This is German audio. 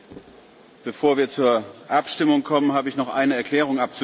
Bevor wir zur Abstimmung kommen, habe ich noch eine Erklärung abzugeben.